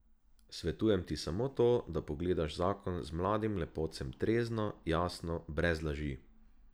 Svetujem ti samo to, da pogledaš zakon z mladim lepotcem trezno, jasno, brez laži.